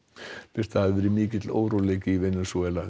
birta það hefur verið mikill óróleiki í Venesúela